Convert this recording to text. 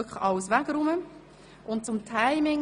Nochmals zum Timing: